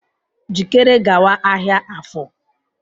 Jikere gawa ahịa Afor!